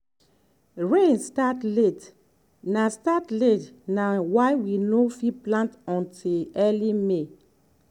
rain start late na start late na why we no fit plant until early may.